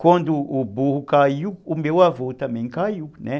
Quando o burro caiu, o meu avô também caiu, né.